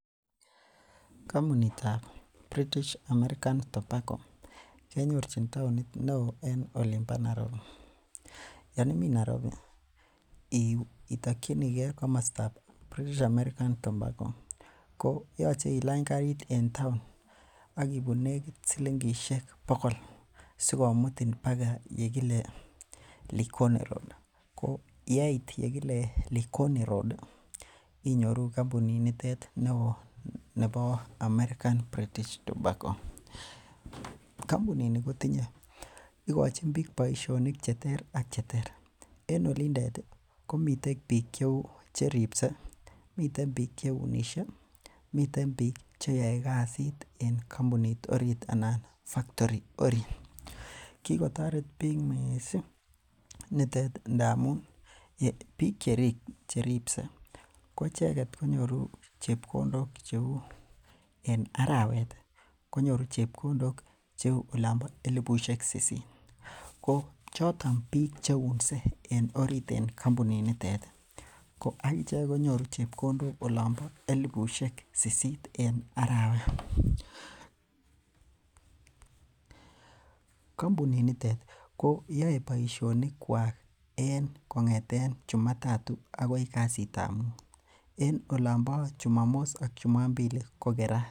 Kampunitab British American tobacco kenyorchin taonit neoo en olimbo Nairobi yoon ime Nairobi itakinike komosto nebo British American tobacco ko yoche ilany karit en town akibun negit silingishek bogolsokomutin akoi yekile likoni road ko yeit gile likoni road inyoru kampunit nito bo American British tobacco. Kampuni ni kotinye , ikochin bik boisionik cheter ak cheter, en olindet komiten bik cheuu cheripse, meten bik cheunishe miten bik cheyoe kasit anan en factory orit, kikotoret bik missing nitet ndamun bik cheripse koicheket konyoru chebkondok cheuu en arawet ih konyoru chebkondok cheuu olonbo elibusiek sisit, ko choton bik cheunse en orit en kampunit nitet ih akichek konyoru chebkondok elibusiek sisit, en arawet, Ko yae baisionik kuak en chumatatu, akoi kasitab muuten olonbo chumamos ak chumambili kokerat.